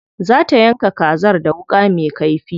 Za ta yanka kazar da wuƙa me kaifi.